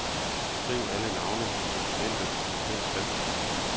Skriv alle navne i dokumentet med fed skrift.